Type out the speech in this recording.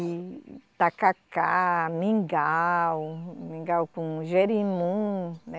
e, e tacacá, mingau, mingau com jerimum, né?